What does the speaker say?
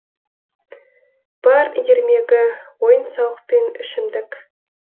бар ермегі ойын сауық пен ішімдік